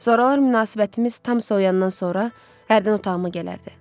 Sonralar münasibətimiz tam soyuyandan sonra hərdən otağıma gələrdi.